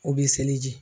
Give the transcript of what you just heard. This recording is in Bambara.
O bɛ seleji